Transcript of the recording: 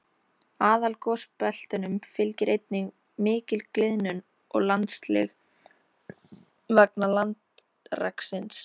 Aðalgosbeltunum fylgir einnig mikil gliðnun og landsig vegna landreksins.